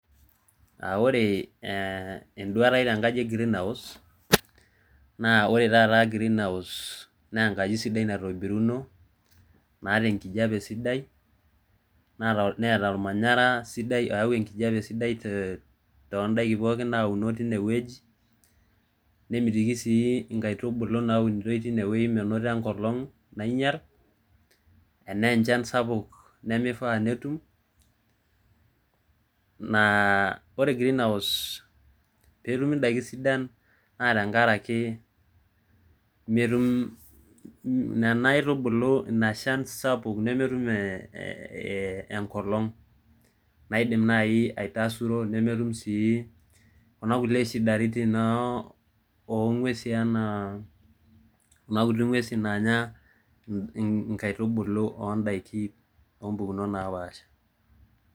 Ore enduata aii tenkaji e greenhouse naa enkaji sidai naitobiruno nataa enkijiape sidai neeta olmanyara sidai oyau enkijape sidai toondaiki pooki naauno teine wueji, nemitiki sii inkatubulu nauno teine wueji menoto enkolong nainyal Ana enchan sapuk nameifaa netum. Ore greenhouse peetumi indaikin sidai naa tenkaraki metum nena aitubulu inashan sapuk nametum enkolong naidim naaji aitasuro nemetum sii kuna kuliek shidaritin oo ng'uesi anaa nguesi naanya inkaitubulu oo ndaiki oo mpukunot naapaasha